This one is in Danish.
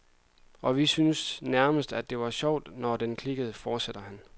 Og vi syntes nærmest, at det var sjovt, når den klikkede, fortsætter han.